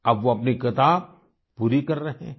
अब वो अपनी किताब पूरी कर रहे हैं